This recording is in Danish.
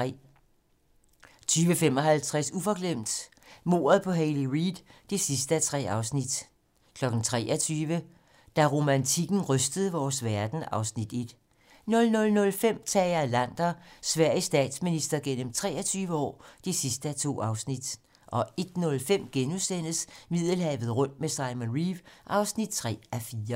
20:55: Uforglemt: Mordet på Hayley Reid (3:3) 23:00: Da romantikken rystede vores verden (Afs. 1) 00:05: Tage Erlander - Sveriges statsminister gennem 23 år (2:2) 01:05: Middelhavet rundt med Simon Reeve (3:4)*